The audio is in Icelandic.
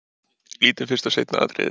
Lítum fyrst á seinna atriðið.